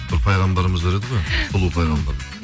бір пайғамбарымыз бар еді ғой сұлу пайғамбарымыз